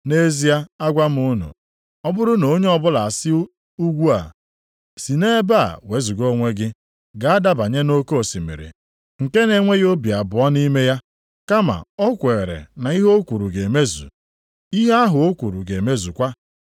Nʼezie agwa m unu, ọ bụrụ na onye ọbụla asị ugwu a, ‘Si nʼebe a wezuga onwe gị, gaa dabanye nʼoke osimiri,’ nke na-enweghị obi abụọ nʼime ya, kama o kweere na ihe o kwuru ga-emezu, ihe ahụ ọ kwuru ga-emezukwa.